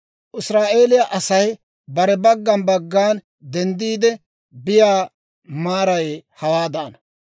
Israa'eeliyaa Asay bare baggan baggan denddiide biyaa maaray hawaadaana.